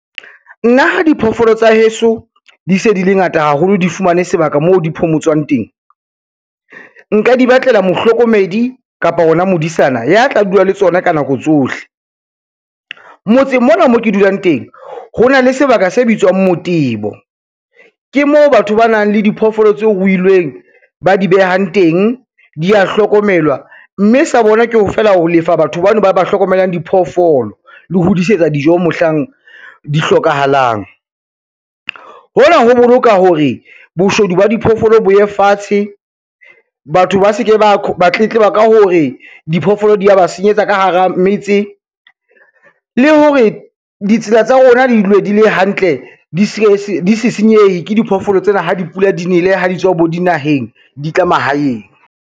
Nna diphoofolo tsa heso di se di le ngata haholo di fumane sebaka moo di phomotsang teng, nka di batlela mohlokomedi kapa ona modisana ya tla dula le tsona ka nako tsohle. Motseng mona mo ke dulang teng ho na le sebaka se bitswang motebo, ke moo batho ba nang le diphoofolo tse ruilweng ba di behang teng, di ya hlokomelwa, mme sa bona ke hore feela ho lefa batho bano ba ba hlokomelang diphoofolo le ho di isetsa dijo mohlang di hlokahalang. Hona ho boloka hore boshodu ba diphoofolo bo ye fatshe, batho ba se ke ba tletleba ka hore diphoofolo di ya ba senyetsa ka hara metse le hore ditsela tsa rona di dule di le hantle di se senyehe ke diphoofolo tsena ha di pula di nele ha di tswa bo dinaheng, di tla mahaeng.